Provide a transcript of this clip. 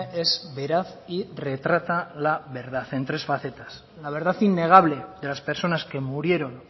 es veraz y retrata la verdad en tres facetas la verdad innegable de las personas que murieron